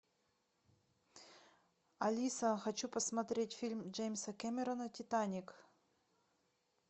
алиса хочу посмотреть фильм джеймса кэмерона титаник